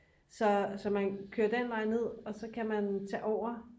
så man kører den vej nej og så kan man tage over